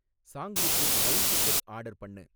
சாங்லிக்கு rail ticket order பண்ணு